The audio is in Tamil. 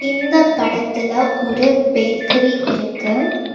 இந்தப் படத்துல ஒரு பேக்கரி இருக்கு.